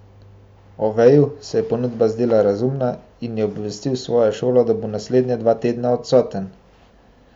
Oveju se je ponudba zdela razumna in je obvestil svojo šolo, da bo naslednja dva tedna odsoten.